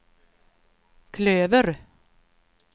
klöver